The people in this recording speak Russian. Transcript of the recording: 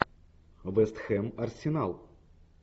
вест хэм арсенал